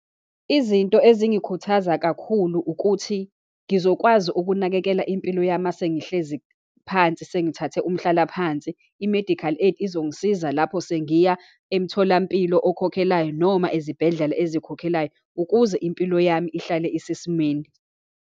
Izinto ezingikhuthaza kakhulu ukuthi, ngizokwazi ukunakekela impilo yami uma sengihlezi phansi, sengithathe umhlalaphansi. I-medical aid izongisiza lapho sengiya emtholampilo okhokhelayo, noma ezibhedlela ezikhokhelayo, ukuze impilo yami ihlale isesimeni.